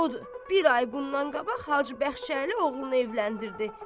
Odur, bir ay bundan qabaq Hacı Bəxşəli oğlunu evləndirdi.